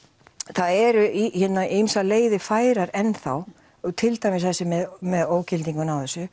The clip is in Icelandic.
það eru ýmsar leiðir færar enn þá til dæmis þessi með með ógildinguna á þessu